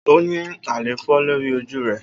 O ni àléfọ lori oju rẹ.